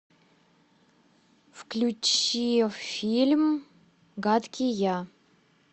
включи фильм гадкий я